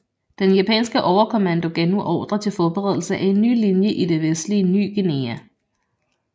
Den japanske overkommando gav nu ordre til forberedelse af en ny linje i det vestlige Ny Guinea